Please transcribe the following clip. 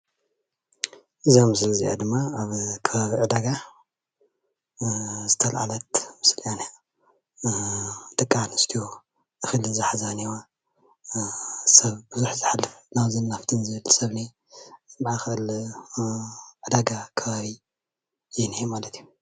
እዛ ምስሊ እዚኣ ድማ ኣብ ከባቢ ዕዳጋ ዝተለዓለት ምስሊ እያ እኒኣ። ደቂ ኣንስትዮ እክሊ ዝሓዛ እኒሀዋ። ሰብ ብዙሕ ዝሓልፍ ናብዙይን ናብትዩን ዝብል እኒሆ። ማእከል ዕዳጋ ከባቢ ዩ እኒሆ።